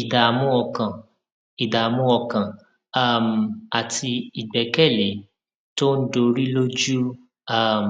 ìdààmú ọkàn ìdààmú ọkàn um àti ìgbékèlé tó ń dorí lójú um